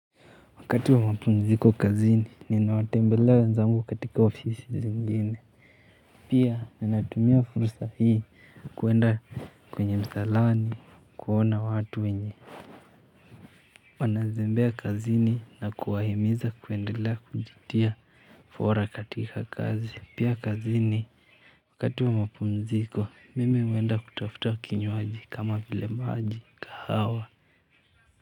Wakati wa mapumziko kazini, ninawatembelea wenzangu katika ofisi zingine. Pia, ninatumia fursa hii kwenda kwenye msalani, kuona watu wenye. Wanazembea kazini na kuwahimiza kuendelea kujitia fora katika kazi. Pia kazini, wakati wa mapumziko, mimi huenda kutafuta kinywaji kama vile maji kahawa.